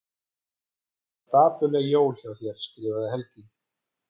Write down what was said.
Það verða dapurleg jól hjá þér skrifar Helgi.